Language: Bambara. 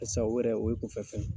Barisa o yɛrɛ o ye kunfɛ fɛn ye